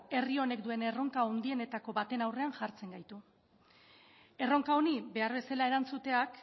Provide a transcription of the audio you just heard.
herri honek duen erronka handienetako batean aurrean jartzen gaitu erronka honi behar bezala erantzuteak